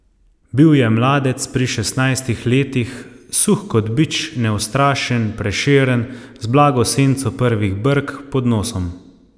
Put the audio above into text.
Bil je mladec pri šestnajstih letih, suh kot bič, neustrašen, prešeren, z blago senco prvih brk pod nosom.